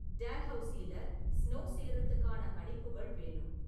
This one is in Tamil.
டல்ஹவுசில ஸ்னோ சேருறதுக்கான கணிப்புகள் வேணும்